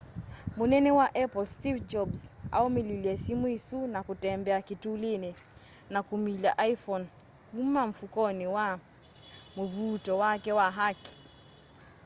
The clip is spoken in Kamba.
munene wa apple steve jobs aumililye simu isu na kutembea kitulini na kumilya iphone kuma mfukoni wa mvuuto wake wa kaki